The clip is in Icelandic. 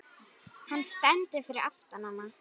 Hann stendur fyrir aftan hana.